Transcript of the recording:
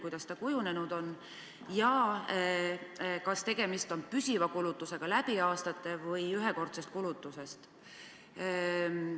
Kuidas see kujunenud on ja kas tegemist on püsiva kulutusega läbi aastate või ühekordse kulutusega?